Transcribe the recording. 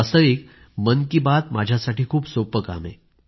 वास्तविक मन की बात माझ्यासाठी खूप सोप्पं काम आहे